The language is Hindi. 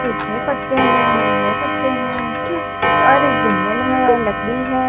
सूखे पत्ते है नीले पत्ते हैं और एक जंगल है लकड़ी है।